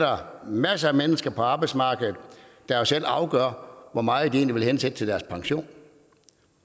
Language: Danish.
masser af mennesker på arbejdsmarkedet der selv afgør hvor meget de egentlig vil hensætte til deres pension